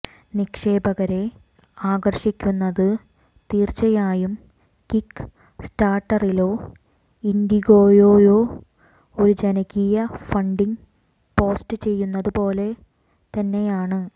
നിക്ഷേപകരെ ആകർഷിക്കുന്നത് തീർച്ചയായും കിക്ക്സ്റ്റാർട്ടറിലോ ഇൻഡിഗോയോയോ ഒരു ജനകീയ ഫണ്ടിംഗ് പോസ്റ്റുചെയ്യുന്നതുപോലെ തന്നെയാണ്